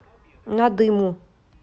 надыму